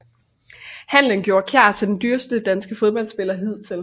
Handlen gjorde Kjær til den dyreste danske fodboldspiller hidtil